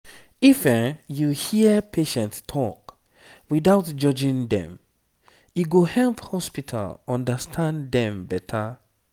if you hear patient talk without judging dem e go help hospital understand dem better.